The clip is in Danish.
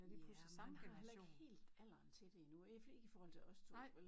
Ja og han har heller ikke helt alderen til det endnu ikke ikke i forhold til os to vel